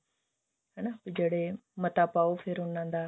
ਹਨਾ ਜਿਹੜੇ ਮਤਾ ਪਾਓ ਫੇਰ ਉਹਨਾਂ ਦਾ